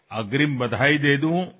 অগ্ৰীম অভিনন্দন জনাইছো